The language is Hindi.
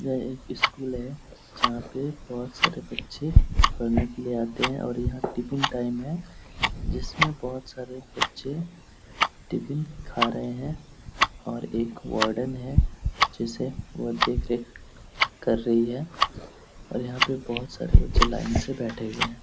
यह एक स्कूल है जहाँ पे बहुत सारे बच्चे पढ़ने के लिए आते हैं और यहाँ टिपिन टाइम है जिसमे बहुत सारे बच्चे टिपिन खा रहे हैं और एक वार्डन है जिसे वो देख रेख कर रही है और यहाँ पे बहुत सारे बच्चे लाइन से बेठे हुए हैं।